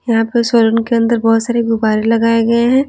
यहाँ पे सोलन के अंदर बहुत सारे गुबारे लगाए गए हैं।